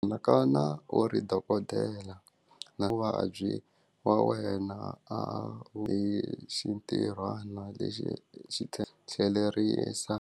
Anakana u ri dokodela na vuvabyi wa wena a wu yi xi ntirhwana lexi xi tlhelerisa.